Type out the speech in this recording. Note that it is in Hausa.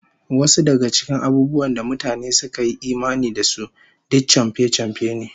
Wasu daga cikin abubuwan da mutane suka yi imani da su, duk chamfe-chamfe ne